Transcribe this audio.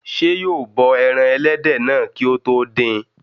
Ṣé yóò bọ ẹran ẹlẹ́dẹ̀ náà kí ó tó dín in?